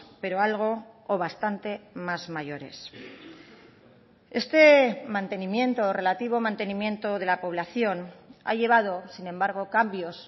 pero algo o bastante más mayores este mantenimiento relativo mantenimiento de la población ha llevado sin embargo cambios